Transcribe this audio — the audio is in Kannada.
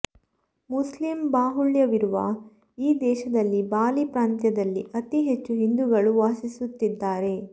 ಮುಸ್ಲಿಂ ಬಾಹುಳ್ಯವಿರುವ ಈ ದೇಶದಲ್ಲಿ ಬಾಲಿ ಪ್ರಾಂತ್ಯದಲ್ಲಿ ಅತಿ ಹೆಚ್ಚು ಹಿಂದೂಗಳು ವಾಸಿಸುತ್ತಿದ್ದಾರೆ